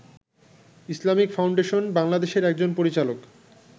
Islamic Foundation বাংলাদেশের একজন পরিচালক